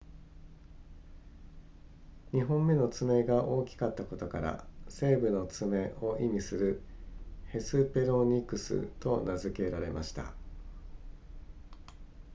2本目の爪が大きかったことから西部の爪を意味するヘスペロニクスと名付けられました